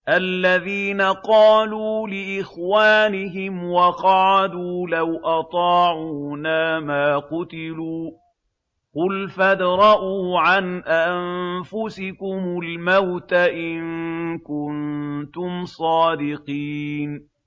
الَّذِينَ قَالُوا لِإِخْوَانِهِمْ وَقَعَدُوا لَوْ أَطَاعُونَا مَا قُتِلُوا ۗ قُلْ فَادْرَءُوا عَنْ أَنفُسِكُمُ الْمَوْتَ إِن كُنتُمْ صَادِقِينَ